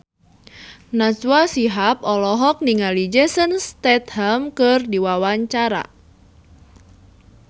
Najwa Shihab olohok ningali Jason Statham keur diwawancara